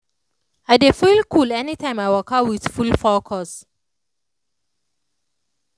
i dey feel cool anytime i waka with full focus.